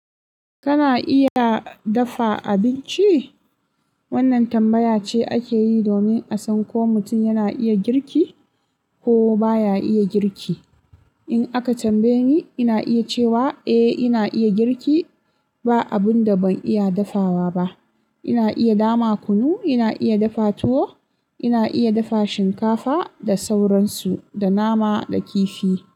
Kana iya dafa abinci? Wannan tambaya ce ake yi domin a san ko mutum yana iya girki, ko baya iya girki. In aka tambaye ni, ina iya cewa, eh ina iya girki. Ba abun da ban iya dafawa ba. Ina iya dama kunu, ina iya dafa tuwo, ina iya dafa shinkafa da sauransu, da nama da kifi.